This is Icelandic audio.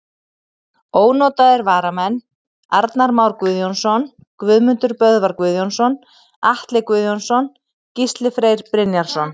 Ónotaðir varamenn: Arnar Már Guðjónsson, Guðmundur Böðvar Guðjónsson, Atli Guðjónsson, Gísli Freyr Brynjarsson.